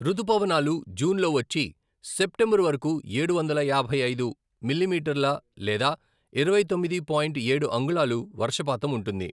రుతుపవనాలు జూన్ లో వచ్చి సెప్టెంబరు వరకు ఏడు వందల యాభై ఐదు మిలీమీటర్ల లేదా ఇరవై తొమ్మిది పాయింట్ ఏడు అంగుళాలు వర్షపాతం ఉంటుంది.